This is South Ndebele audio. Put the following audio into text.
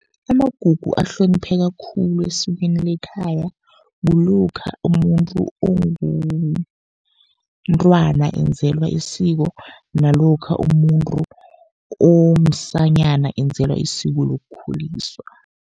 Amagugu ahlonipheka khulu esikweni lekhaya. Kulokha umuntu omntwana enzelwa isiko, nalokha umuntu omsanyana enzelwa isiko lokukhuliswa.